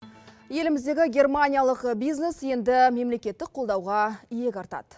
еліміздегі германиялық бизнес енді мемлекеттік қолдауға иек артады